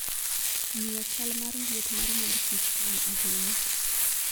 Ng'iyo chal mar liet mar mor kich konyo ahinya.